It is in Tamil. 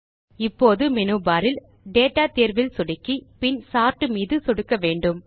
இப்போது மேனு பார் இல் டேட்டா தேர்வில் சொடுக்கி பின் சோர்ட் மீது சொடுக்க வேண்டும்